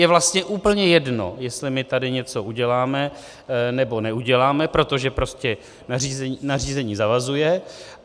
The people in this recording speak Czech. Je vlastně úplně jedno, jestli my tady něco uděláme, nebo neuděláme, protože prostě nařízení zavazuje.